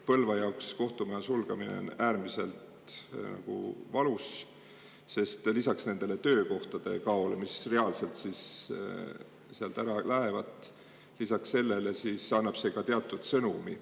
Põlva jaoks on kohtumaja sulgemine äärmiselt valus, sest lisaks töökohtade kaole – need lähevad sealt reaalselt ära – annab see ka teatud sõnumi.